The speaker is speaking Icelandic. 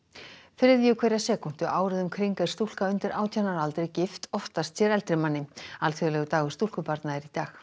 þriðju hverja sekúndu árið um kring er stúlka undir átján ára aldri gift oftast sér eldri manni alþjóðlegur dagur stúlkubarna er í dag